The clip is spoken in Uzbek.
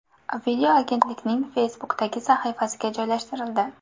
Video agentlikning Facebook’dagi sahifasiga joylashtirildi .